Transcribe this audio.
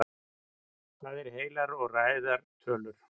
hvað eru heilar og ræðar tölur